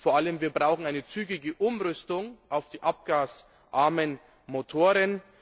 Vor allem brauchen wir eine zügige Umrüstung auf die abgasarmen Motoren.